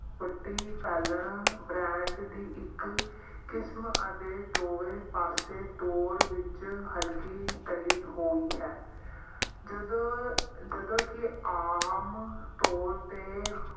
ਵੱਟੀ ਛਾਨਣਾ brand ਦੀ ਇੱਕ ਕਿਸਮ ਅਤੇ ਦੋਵੇਂ ਪਾਸੇ ਤੋਂ ਤੋਰ ਵਿੱਚ ਹਲਕੀ ਤਲੀ ਹੋਈ ਹੈ। ਜਦੋਂ ਜਦੋਂ ਕਿ ਆਮ ਤੌਰ ਤੇ